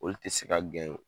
O tɛ se ka